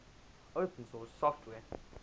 open source software